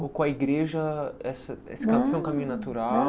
Com a igreja, essa esse foi um caminho natural?